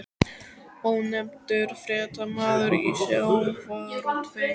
Ónefndur fréttamaður: Í sjávarútvegi?